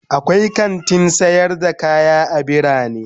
akwai kantin sayar da kaya a bitane.